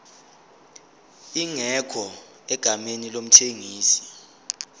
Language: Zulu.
ingekho egameni lomthengisi